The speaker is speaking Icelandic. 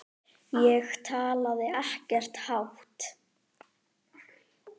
Ég talaði ekkert hátt.